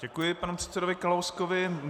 Děkuji panu předsedovi Kalouskovi.